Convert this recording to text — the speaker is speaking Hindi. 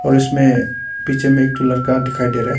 उसमें पीछे में एक ठो लड़का दिखाई दे रहा है।